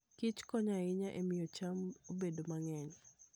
Kich konyo ahinya e miyo cham obed mang'eny.